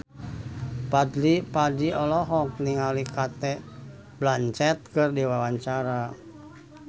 Fadly Padi olohok ningali Cate Blanchett keur diwawancara